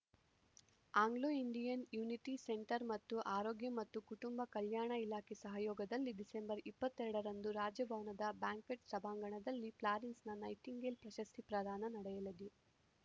Anglo Indian unity centre ಮತ್ತು ಆರೋಗ್ಯ ಮತ್ತು ಕುಟುಂಬ ಕಲ್ಯಾಣ ಇಲಾಖೆ ಸಹಯೋಗದಲ್ಲಿ ಡಿಸೆಂಬರ್ ಇಪ್ಪತ್ತೆರಡರಂದು ರಾಜಭವನದ ಬ್ಯಾಂಕ್ವೆಟ್‌ ಸಭಾಂಗಣದಲ್ಲಿ ಫ್ಲಾರೆನ್ಸ್‌ ನೈಟಿಂಗೇಲ್‌ ಪ್ರಶಸ್ತಿ ಪ್ರದಾನ ನಡೆಯಲಿದೆ